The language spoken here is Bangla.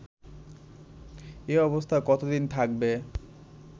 এ অবস্থা কতোদিন থাকবে